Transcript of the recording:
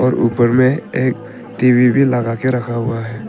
और ऊपर में एक टी_वी भी लगा के रखा हुआ है।